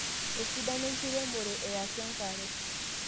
esidano enkiremore e atu enkare.